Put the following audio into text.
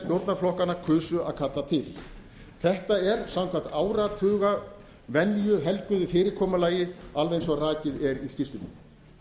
stjórnarflokkanna kusu að kalla til þetta er samkvæmt áratugavenju helguðu fyrirkomulagi alveg eins og rakið er í skýrslunni